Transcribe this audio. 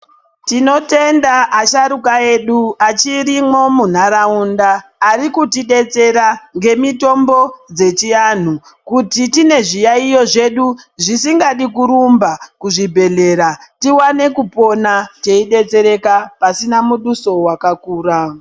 Tinotenda asharuka edu achirimwo munharaunda, ari kuti detsera ngemitombo dzechianhu, kuti tine zviyayiyo zvedu zvisingadi kurumba kuzvibhedhlera, tiwane kupona teyidetsereka pasina muduso wakakura.